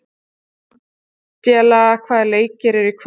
Angela, hvaða leikir eru í kvöld?